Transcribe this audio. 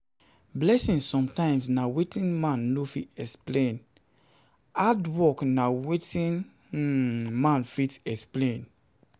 Blessings sometimes na wetin man no fit explain, hard work na wetin [um]man fit explain